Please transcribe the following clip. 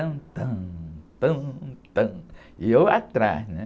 Tam, tam, tam, tam, e eu atrás, né?